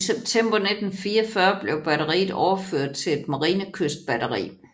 I september 1944 blev batteriet overført til et Marinekystbatteri